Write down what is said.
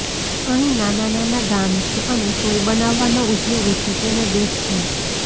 અહીં નાના નાના ગામ છે અને સોય બનાવાનો ઉદ્યોગ છે તેને દેખજો